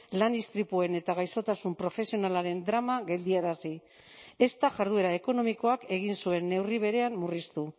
lan istripuen eta gaixotasun profesionalaren drama geldiarazi ez da jarduera ekonomikoak egin zuen neurri berean murriztu